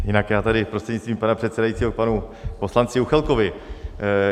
Jinak já tady, prostřednictvím pana předsedajícího, k panu poslanci Juchelkovi.